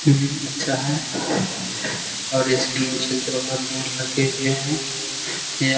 हूं अच्छा है और इसके नीचे दो आदमी लगे हुए हैं या --